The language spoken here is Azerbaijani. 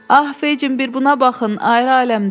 Ah Feçin bir buna baxın, ayrı aləmdəndir.